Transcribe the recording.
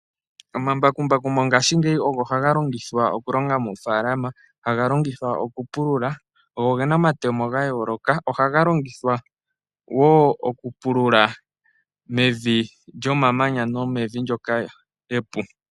Omambakumbaku mongaashingeyi ogo haga longithwa okulonga moofaalama, haga longithwa oku pulula. Ogo gena omatemo gayooloka, ohaga longithwa wo okupulula mevi lyomamanya nomevi ndyoka epu.